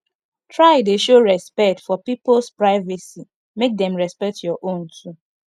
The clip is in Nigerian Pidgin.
try de show respect for pipos privacy make dem respect your own too